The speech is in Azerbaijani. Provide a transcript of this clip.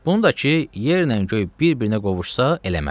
Bunu da ki, yerlə göy bir-birinə qovuşsa eləmərəm.